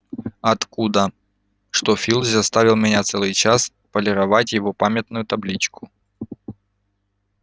оттуда что филч заставил меня целый час полировать его памятную табличку